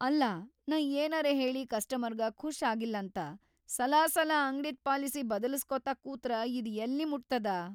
ಅಲ್ಲಾ ನಾ ಏನರೇ ಹೇಳಿ ಕಸ್ಟಮರ್ಗ ಖುಷ್ ಆಗಿಲ್ಲಂತ‌ ಸಲಾಸಲ ಅಂಗ್ಡಿದ್‌ ಪಾಲಿಸಿ ಬದಲಾಸ್ಕೋತ ಕೂತ್ರ ಇದ್ ಯಲ್ಲಿಮುಟ್ತದ?